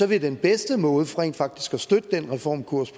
vil den bedste måde til rent faktisk at støtte den reformkurs